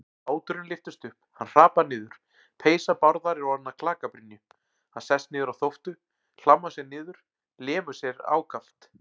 Báturinn lyftist upp, hann hrapar niður, peysa Bárðar er orðin að klakabrynju, hann sest niður á þóftu, hlammar sér niður, lemur sig ákaft.